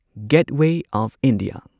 getaway of India